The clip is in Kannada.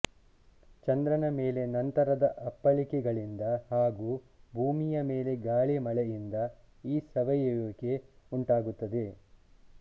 ಚಂದ್ರನ ಮೇಲೆ ನಂತರದ ಅಪ್ಪಳಿಕೆಗಳಿಂದ ಹಾಗೂ ಭೂಮಿಯ ಮೇಲೆ ಗಾಳಿ ಮಳೆಯಿಂದ ಈ ಸವೆಯುವಿಕೆ ಉಂಟಾಗುತ್ತದೆ